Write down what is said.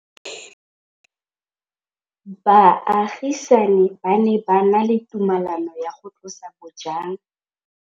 Baagisani ba ne ba na le tumalanô ya go tlosa bojang.